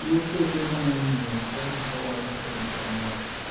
Tuo choke mayomyom chal ni kowore ei anyuola.